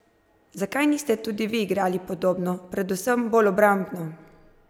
Zakaj niste tudi vi igrali podobno, predvsem bolj obrambno?